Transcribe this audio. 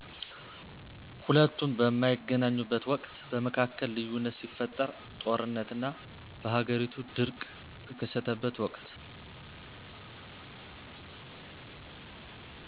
ሁለቱም በማይገናኙበት ወቅት በመካከል ልዩነት ሲፈጠር ጦርነት እና በሃገሪቱ ድርቅ ቀተከሰተበት ወቅት